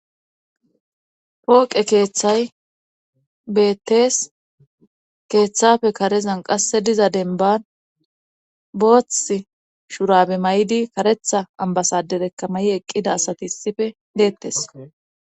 Pooqe keeththay beettees keeththafe karezan qasse diza denban booth shurabe may7di karetha ambasaderekkamayi eqqida asati issife deettes.